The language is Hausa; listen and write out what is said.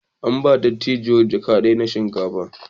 An ba dattijuwar jaka na shinkafa.